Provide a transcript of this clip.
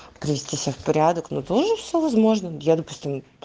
привести себя в порядок но тоже все возможно я допустим